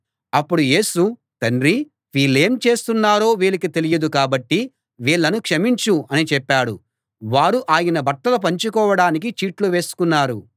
అప్పుడు యేసు తండ్రీ వీళ్ళేం చేస్తున్నారో వీళ్ళకి తెలియదు కాబట్టి వీళ్ళను క్షమించు అని చెప్పాడు వారు ఆయన బట్టలు పంచుకోడానికి చీట్లు వేసుకున్నారు